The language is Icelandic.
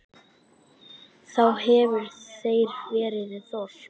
Þá hefur þar verið þorp.